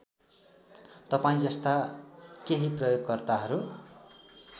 तपाईँजस्ता केही प्रयोगकर्ताहरू